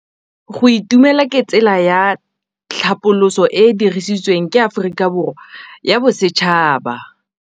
Go itumela ke tsela ya tlhapolisô e e dirisitsweng ke Aforika Borwa ya Bosetšhaba.